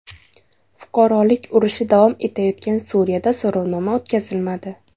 Fuqarolik urushi davom etayotgan Suriyada so‘rovnoma o‘tkazilmadi.